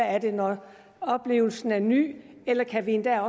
er det når oplevelsen er ny eller kan vi endda